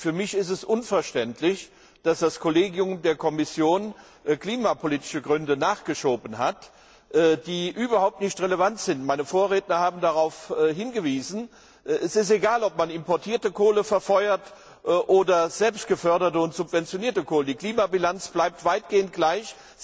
Für mich ist es unverständlich, dass das Kollegium der Kommission klimapolitische Gründe nachgeschoben hat, die überhaupt nicht relevant sind. Meine Vorredner haben darauf hingewiesen Es ist egal, ob man importierte Kohle verfeuert oder selbstgeförderte und subventionierte Kohle. Die Klimabilanz bleibt weitgehend gleich.